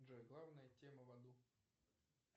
джой главная тема в аду